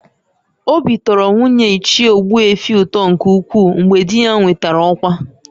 Obi tọrọ nwunye Ichie Ogbuefi ụtọ nke ukwuu mgbe di ya nwetara ọkwa